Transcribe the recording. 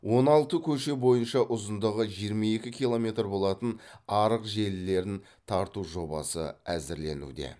он алты көше бойынша ұзындығы жиырма екі километр болатын арық желілерін тарту жобасы әзірленуде